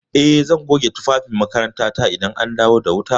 Eh, zan goge tufafin makarantata idan an dawo da wuta.